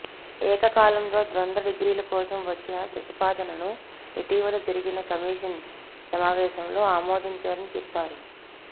ఏకకాలంలో ద్వంద్వ డిగ్రీల కోసం వచ్చిన ప్రతిపాదనను ఇటీవల జరిగిన కమిషన్ సమావేశంలో ఆమోదించారని చెప్పారు